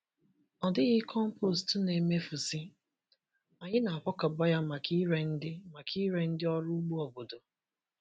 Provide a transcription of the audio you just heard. Ọ dịghị compost na-emefusị—anyị na-akwakọba ya maka ire ndị maka ire ndị ọrụ ugbo obodo.